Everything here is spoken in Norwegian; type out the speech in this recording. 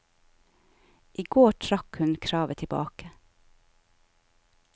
I går trakk hun kravet tilbake.